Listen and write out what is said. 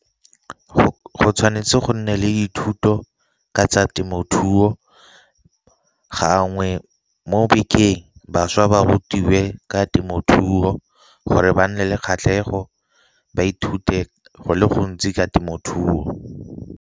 Go tshwanetse go nne le dithuto ka tsa temothuo, gangwe mo bekeng bašwa ba rutiwe ka temothuo gore ba nne le kgatlhego ba ithute go le gontsi ka temothuo.